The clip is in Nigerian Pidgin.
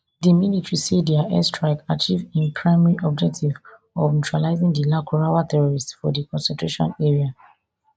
di military say dia airstrike achieve im primary objective of neutralising di lakurawa terrorists for di concentration area